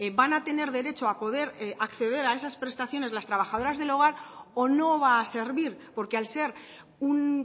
van a tener derecho a poder acceder a esas prestaciones las trabajadoras del hogar o no va a servir porque al ser un